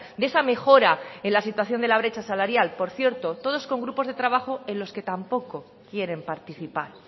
de esa mejora en la situación de la brecha salarial por cierto todos con grupos de trabajo en los que tampoco quieren participar